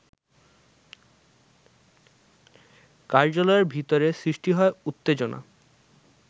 কার্যালয়ের ভেতরে সৃষ্টি হয় উত্তেজনা